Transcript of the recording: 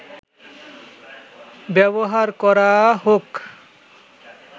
ব্যবহার করা হোক